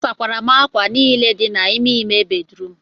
asakwara m ákwà niile dị n'ime ime bedrum